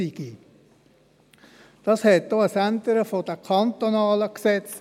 Dies erforderte auch eine Änderung der kantonalen Gesetze.